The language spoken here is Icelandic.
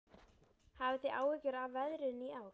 Hafið þið áhyggjur af veðrinu í ár?